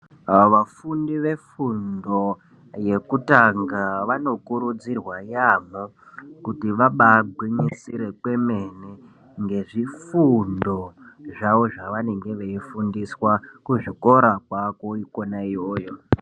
Vafundi vefundo yekutanga vanokurudzirwa yaamho kuti vabagwinyisire kwemene ngezvifundo zvawo zvavanenge veifundiswa kuzvikora kwako ikona iyoyo.